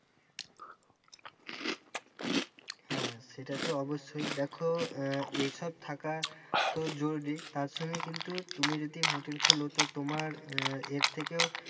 হ্যাঁ সেটা তো অবশ্যই দেখো আহ এসব থাকা তো জরুরি তার সঙ্গে কিন্তু তুমি যদি hotel খোলো তো তোমার আহ এর থেকেও,